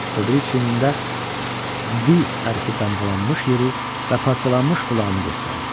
O biri çiynində V hərfi damğalanmış yeri və parçalanmış qulağını göstərdi.